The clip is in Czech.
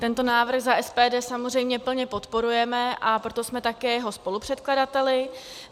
Tento návrh za SPD samozřejmě plně podporujeme, a proto jsme také jeho spolupředkladateli.